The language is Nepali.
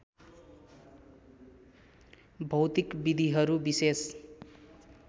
भौतिक विधिहरू विशेष